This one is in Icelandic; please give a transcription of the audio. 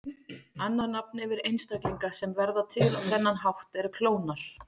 Annað nafn yfir einstaklinga sem verða til á þennan hátt er klónar.